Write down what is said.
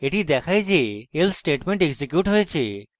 এটি দেখায় যে else statement এক্সিকিউট হয়েছে